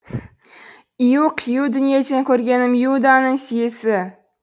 ию қию дүниеден көргенім иуданың сүйісі